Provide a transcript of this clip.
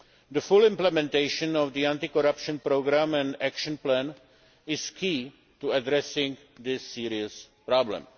The full implementation of the anti corruption programme and action plan is key to addressing this serious problem.